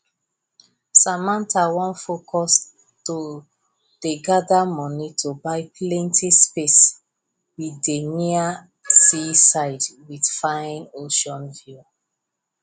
samantha wan focus to dey gather money to buy plenty space wey dey near seaside with fine ocean view